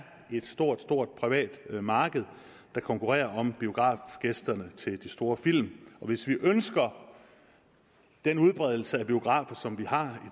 et stort stort privat marked der konkurrerer om biografgæsterne til de store film hvis vi ønsker den udbredelse af biografer som vi har